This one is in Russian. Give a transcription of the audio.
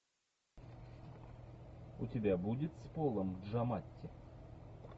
у тебя будет с полом джаматти